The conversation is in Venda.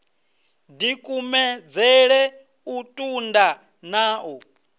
dikumedzele u tunda na u